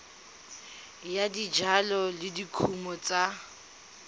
ya dijalo le dikumo tsa